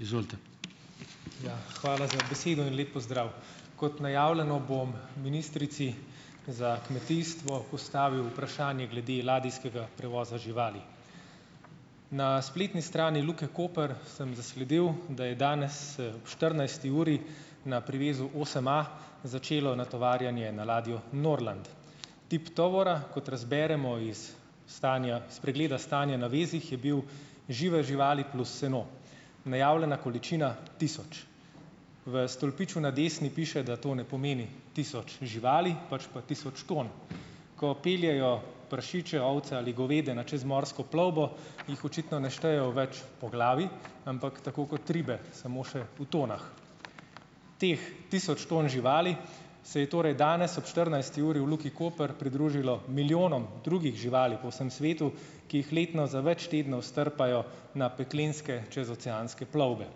Ja, hvala za besedo in lep pozdrav! Kot najavljeno, bom ministrici za kmetijstvo postavil vprašanje glede ladijskega prevoza živali. Na spletni strani Luke Koper sem zasledil, da je danes ob štirinajsti uri na privezu osemA začelo natovarjanje na ladjo Norland. Tip tovora, kot razberemo iz stanja pregleda stanja na vezih, je bil žive živali plus seno. Najavljena količina: tisoč. V stolpiču na desni piše, da to ne pomeni tisoč živali, pač pa tisoč ton. Ko peljejo prašiče, ovce, ali goveda na čezmorsko plovbo, jih očitno ne štejejo več po glavi, ampak tako kot ribe, samo še po tonah. Teh tisoč ton živali, se je torej danes ob štirinajsti uri v Luki Koper pridružilo milijonom drugih živali po vsem svetu, ki jih letno za več tednov strpajo na peklenske čezoceanske plovbe.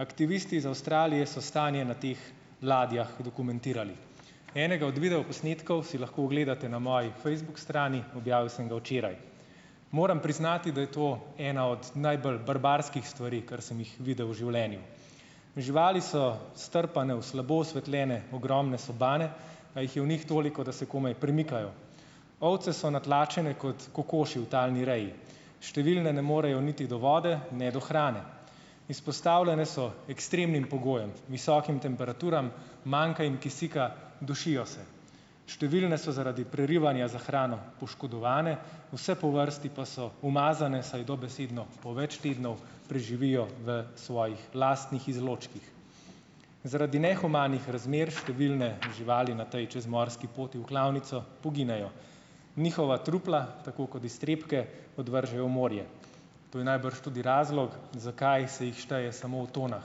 Aktivisti iz Avstralije so stanje na teh ladjah dokumentirali. Enega od videoposnetkov si lahko ogledate na moji Facebook strani, objavil sem ga včeraj. Moram priznati, da je to ena od najbolj barbarskih stvari, kar sem jih videl v življenju. Živali so strpane v slabo osvetljene ogromne sobane, a jih je v njih toliko, da se komaj premikajo. Ovce so natlačene kot kokoši v talni reji. Številne ne morejo niti do vode ne do hrane. Izpostavljene so ekstremnim pogojem: visokim temperaturam, manjka jim kisika, dušijo se. Številne so zaradi prerivanja za hrano poškodovane, vse po vrsti pa so umazane, saj dobesedno po več tednov preživijo v svojih lastnih izločkih. Zaradi nehumanih razmer številne živali na tej čezmorski poti v klavnico poginejo. Njihova trupla tako kot iztrebke odvržejo v morje. To je najbrž tudi razlog, zakaj se jih šteje samo v tonah.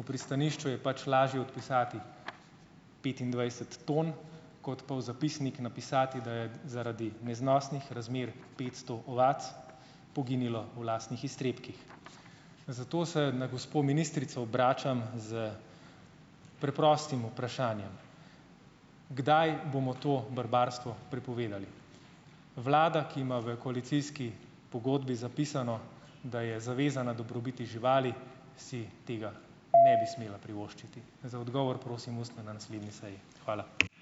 V pristanišču je pač lažje odpisati petindvajset ton kot pa v zapisnik napisati, da je zaradi neznosnih razmer petsto ovac poginilo v lastnih iztrebkih. Zato se na gospo ministrico obračam s preprostim vprašanjem: Kdaj bomo to barbarstvo prepovedali? Vlada, ki ima v koalicijski pogodbi zapisano, da je zavezana dobrobiti živali, si tega ne bi smela privoščiti. Za odgovor prosim ustno na naslednji seji. Hvala.